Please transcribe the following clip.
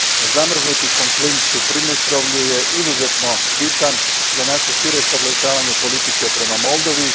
Zamrznuti konflikt u Pridnjestrovlju je izuzetno bitan za naše šire sagledavanje politike prema Moldovi.